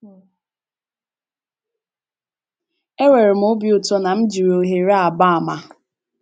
Enwere m obi ụtọ na m jiri ohere a gbaa àmà.